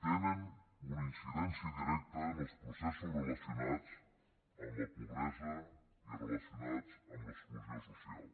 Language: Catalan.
tenen una incidència directa en els processos relacionats amb la pobresa i relacionats amb l’exclusió social